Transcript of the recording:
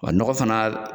Wa nɔgɔ fana